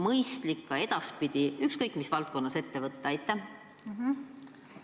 Kas on mõistlik edaspidi ükskõik mis valdkonnas midagi sellist ette võtta?